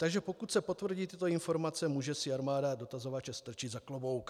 Takže pokud se potvrdí tyto informace, může si armáda dotazovače strčit za klobouk.